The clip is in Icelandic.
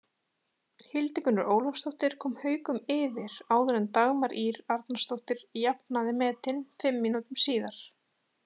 Hildigunnur Ólafsdóttir kom Haukum yfir áður en Dagmar Ýr Arnarsdóttir jafnaði metin fimm mínútum síðar.